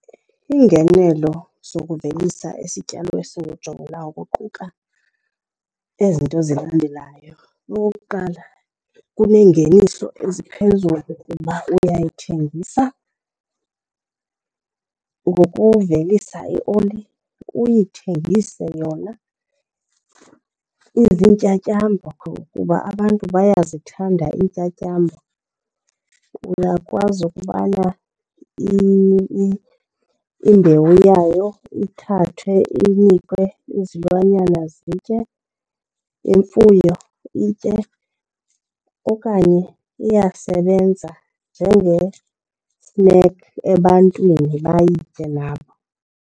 Iingenelo zokuvelisa isityalo esingujongilanga kuquka ezi zinto zilandelayo. Okokuqala, kuneengeniso eziphezulu kuba uyayithengisa ngokuvelisa ioli, uyithengise yona izintyatyambo kuba abantu bayazithanda iintyatyambo. Uyakwazi ukubana imbewu yayo ithathwe inikwe izilwanyana zitye, imfuyo itye, okanye iyasebenza njenge-snack ebantwini bayitye nabo.